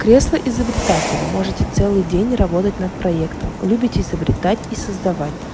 кресло изобретателя можете целый день работать над проектом любите изобретать и создавать